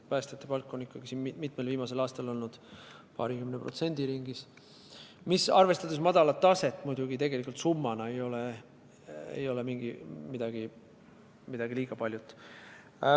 Päästjate palga tõus on ikkagi mitmel viimasel aastal olnud paarikümne protsendi ringis, mis arvestades madalat taset muidugi summana ei ole liiga palju.